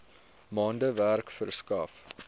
maande werk verskaf